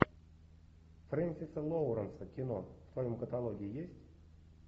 френсиса лоуренса кино в твоем каталоге есть